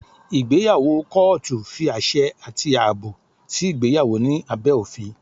Ìgbéyàwó kọ́ọ́tù fi àṣẹ àti àbò sí ìgbéyàwó ní abẹ́ òfin.